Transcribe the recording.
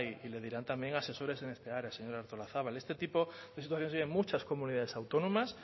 y le dirán también asesores en esta área señora artolazabal este tipo de situaciones hay en muchas comunidades autónomas